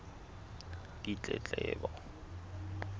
ditletlebo